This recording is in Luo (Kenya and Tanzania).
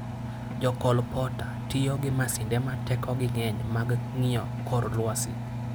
Jokolpota tiyo gi masinde ma tekogi ng'eny mag ng'iyo kor lwasi.